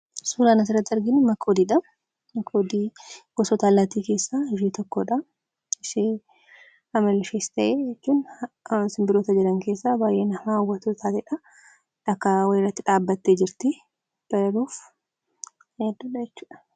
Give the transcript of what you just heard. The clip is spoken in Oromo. Suuraan asirratti arginu Makoodii dha. Makoodiin gosoota allaattii keessaa ishee tokko dha. Ishee amalli ishees ta'e jechuun simbirroota jiran keessaa baay'ee na hawwatoo taatee dha. Dhakaa wayii irratti dhaabattee jirti. Barari'uuf yaadduu dha jechuudha.